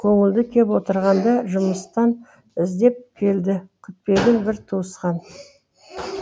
көңілді кеп отырғанда жұмыстан іздеп келді күтпеген бір туысқан